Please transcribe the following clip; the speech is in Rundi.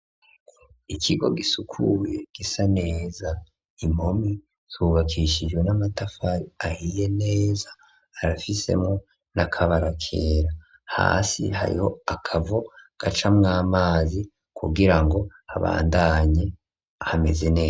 Ikigo gisukuye gisa neza ,impome zubakishijwe n'amatafari ahiye neza, arafisemwo n'akabara kera . Hasi hariho akavo gacamwo amazi kugira ngo habandanye hameze neza.